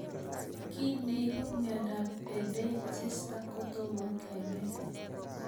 Kiy neipu miondop Erdheim Chester kotomo kenai